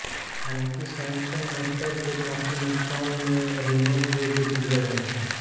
हालांकि Samsung motor को काफी नुकसान में रेनो को बेच दिया गया था